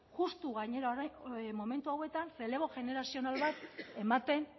justu gainera orain momentu hauetan errelebo generazional bat ematen